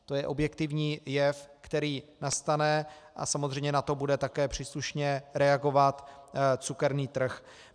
To je objektivní jev, který nastane, a samozřejmě na to bude také příslušně reagovat cukerný trh.